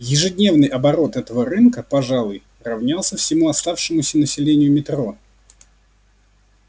ежедневный оборот этого рынка пожалуй равнялся всему оставшемуся населению метро